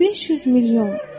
500 milyon.